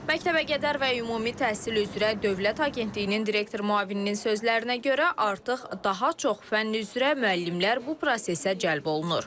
Məktəbə qədər və ümumi təhsil üzrə Dövlət Agentliyinin direktor müavininin sözlərinə görə artıq daha çox fənn üzrə müəllimlər bu prosesə cəlb olunur.